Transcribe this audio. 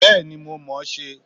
Bẹ́ẹ̀ni, mo mọ̀ ọ́n ṣe